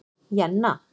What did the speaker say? Jenna